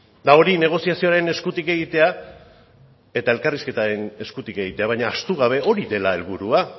eta hori negoziazioaren eskutik egitea eta elkarrizketaren eskutik egitea baina ahaztu gabe hori dela helburua